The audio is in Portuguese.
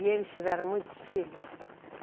E eles tiveram muitos filhos?